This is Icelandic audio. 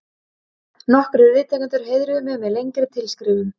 Nokkrir viðtakendur heiðruðu mig með lengri tilskrifum.